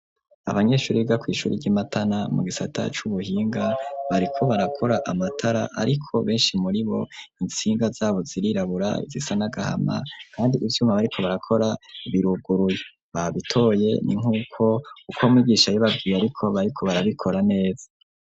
Abanyeshuri biga kw'Ishuri ry'Imatana mu gisata c'ubuhinga bariko barakora amatara, ariko benshi muri bo intsinga zabo zirirabura zisanagahama, kandi igituma bariko barakora biruguruye babitoye ni nk'uko uko umwigisha yabibabwiye bariko barabikora neza.